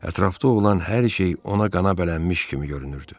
Ətrafda olan hər şey ona qana bələnmiş kimi görünürdü.